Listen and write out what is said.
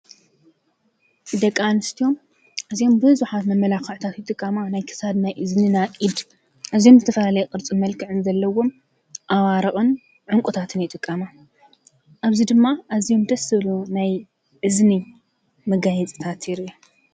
ደቂ ኣንስትዮ እዞም ብዙሓት መመላክዕታት ዝጥቀሙ ናይ ክሳድ፣ ናይ እዝኒ፣ ናይ ኢድ እዚኦም ናይ ዝተፈላለየ ቅርፅን መልክዕን ዘለዎም ኣዋርቅን ዕንቁታትን ይጥቀማ። ኣብዚ ድማ ደስ ዝብሉን ናይ እዝኒ መጋየፅታት ኣለው።